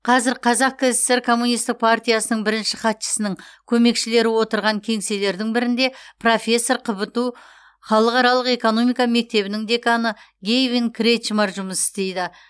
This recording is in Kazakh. қазір қазақ кср коммунистік партиясының бірінші хатшысының көмекшілері отырған кеңселердің бірінде профессор қбту халықаралық экономика мектебінің деканы гэйвин кретчмар жұмыс істейді